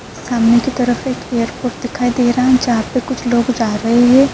سامنے کی طرف ایک ائیرپورٹ دکھائی دے رہا ہے۔ جہاں پی کچھ لوگ جا رہے ہے۔